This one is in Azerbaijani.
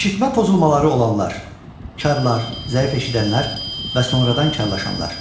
Eşitmə pozulmaları olanlar, karlar, zəif eşidənlər və sonradan karlaşanlar.